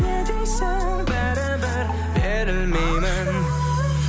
не дейсің бәрібір берілмеймін